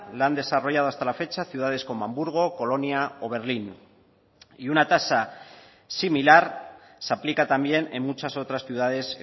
la han desarrollado hasta la fecha ciudades como hamburgo colonia o berlín y una tasa similar se aplica también en muchas otras ciudades